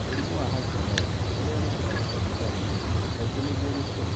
Mũrimũ wa hashimoto, ũrĩa nĩ kĩhoto ũtarĩ na mũrimũ, Kaingĩ nĩguo ngĩtũmi.